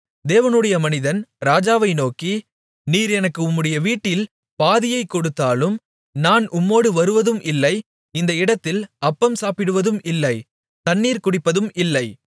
தேவனுடைய மனிதன் ராஜாவை நோக்கி நீர் எனக்கு உம்முடைய வீட்டில் பாதியைக் கொடுத்தாலும் நான் உம்மோடு வருவதும் இல்லை இந்த இடத்தில் அப்பம் சாப்பிடுவதும் இல்லை தண்ணீர் குடிப்பதும் இல்லை